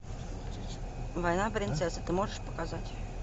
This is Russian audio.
война принцесс ты можешь показать